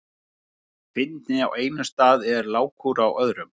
Fyndni á einum stað er lágkúra á öðrum.